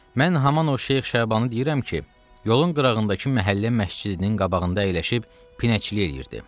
Mən haman o Şeyx Şabanı deyirəm ki, yolun qırağındakı məhəllə məscidinin qabağında əyləşib pinəkçilik eləyirdi.